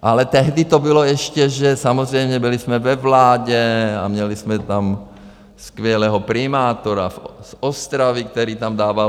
Ale tehdy to bylo ještě, že samozřejmě jsme byli ve vládě a měli jsme tam skvělého primátora z Ostravy, který tam dával...